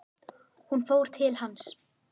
Hún fór til hans.